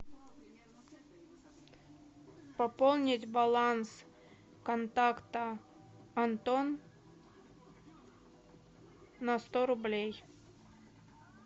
пополнить баланс контакта антон на сто рублей